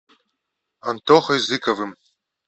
антохой зыковым